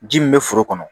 Ji min bɛ foro kɔnɔ